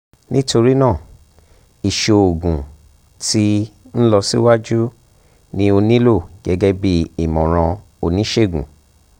nitorina iṣoogun ti nlọsiwaju ni a nilo gẹgẹbi imọran onisegun